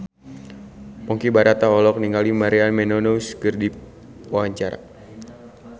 Ponky Brata olohok ningali Maria Menounos keur diwawancara